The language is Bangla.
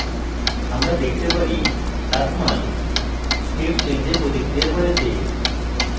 আমরা দেখতে পারি তাপমান step change we প্রতিক্রিয়া করেছে